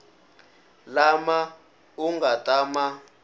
lama u nga ta ma